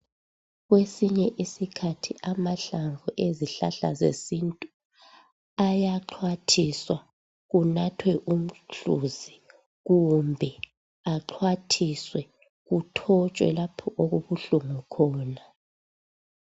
Kwesinye isikhathi amahlamvu ezihlahla zesintu ayaxhwathiswa kunathwe umhluzi kumbe axhwathiswe kuthotshwe lapho okubuhlungu khona.